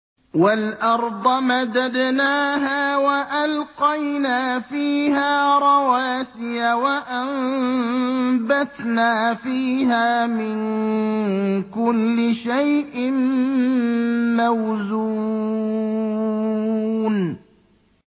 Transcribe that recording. وَالْأَرْضَ مَدَدْنَاهَا وَأَلْقَيْنَا فِيهَا رَوَاسِيَ وَأَنبَتْنَا فِيهَا مِن كُلِّ شَيْءٍ مَّوْزُونٍ